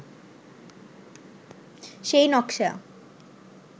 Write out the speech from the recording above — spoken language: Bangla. সেই নকশা